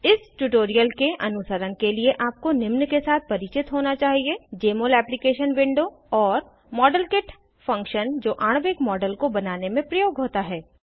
इस ट्यूटोरियल के अनुसरण के लिए आपको निम्न के साथ परिचित होना चाहिए जमोल एप्लीकेशन विंडो और मॉडेलकिट फंक्शन जो आणविक मॉडल्स को बनाने में प्रयोग होता है